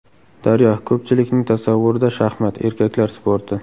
Daryo: Ko‘pchilikning tasavvurida shaxmat – erkaklar sporti.